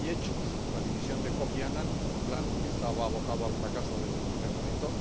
Y hechos la dimisión de Kofi Annan en un plan que estaba abocado al fracaso desde el primer momento.